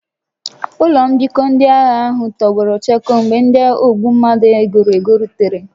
Ụlọ mbikọ ndị agha ahụ tọgbọrọ chakoo mgbe ndị ogbu mmadụ e goro ego rutere